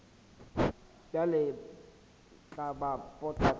bjale tla ba pota kae